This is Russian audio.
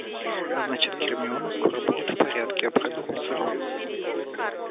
значит гермиона скоро будет в порядке обрадовался рон